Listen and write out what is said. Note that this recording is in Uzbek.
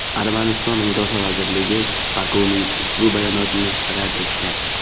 Armaniston Mudofaa vazirligi Bokuning ushbu bayonotini rad etgan.